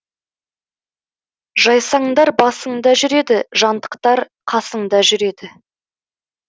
жайсаңдар басыңда жүреді жантықтар қасыңда жүреді